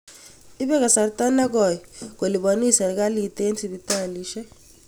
Ipe kasarta nekoi kolipanis sirikalit eng' sipitalisyek.